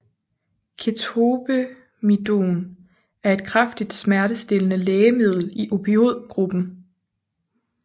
Ketobemidon er et kraftigt smertestillende lægemiddel i opioid gruppen